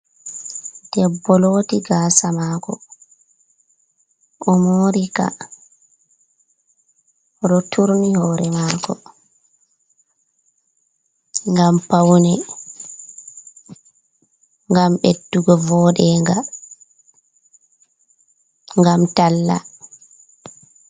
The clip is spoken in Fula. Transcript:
Debbo loti gasa mako, o mori ka. O ɗo turni hore mako ngam paune, ngam ɓeddugo vooɗenga, ngam talla.